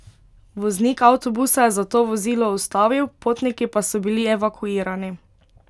Voznik avtobusa je zato vozilo ustavil, potniki pa so bili evakuirani.